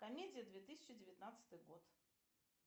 комедия две тысячи девятнадцатый год